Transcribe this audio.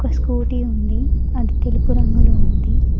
Scooty ఉంది అది తెలుపు రంగులో ఉంది.